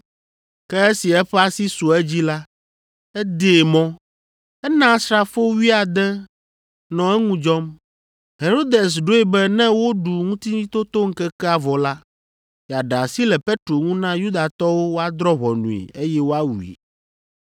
Ke esi eƒe asi su edzi la, edee mɔ. Ena asrafo wuiade nɔ eŋu dzɔm. Herodes ɖoe be ne woɖu Ŋutitotoŋkekea vɔ la, yeaɖe asi le Petro ŋu na Yudatɔwo woadrɔ̃ ʋɔnui eye woawui.